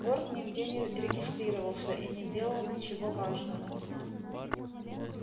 борт нигде не регистрировался и не делал ничего важного